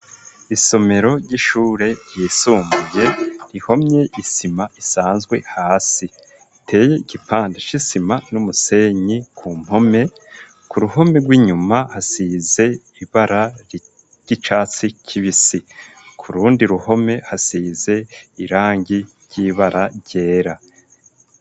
Isomero ry'ishure ryisumbuye rihomye isima isanzwe hasi iteye igipanda cisima n'umusenyi ku mpome ku ruhome rw'inyuma hasize ibara ry'icatsi kibisi kurundi ruhome hasize irangi ry'ibara ryera.